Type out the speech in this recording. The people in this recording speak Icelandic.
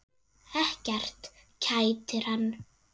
Ekkert kætir hann.